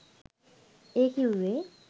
ඒ කිව්වේ